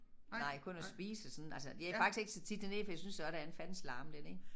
Nej kun at spise og sådan altså jeg faktisk ikke så tit dernede fordi jeg synes også der en fandens larm dernede